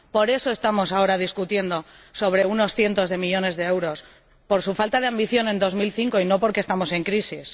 Por eso estamos ahora discutiendo sobre unos cientos de millones de euros por su falta de ambición en 2005 y no porque estemos en crisis.